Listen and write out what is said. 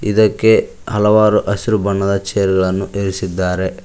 ಇದಕ್ಕೆ ಹಲವಾರು ಹಸಿರು ಬಣ್ಣದ ಚೇರು ಇರಿಸಿದ್ದಾರೆ.